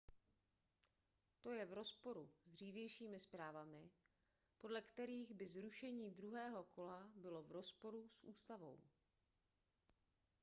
to je v rozporu s dřívějšími zprávami podle kterých by zrušení druhého kola bylo v rozporu s ústavou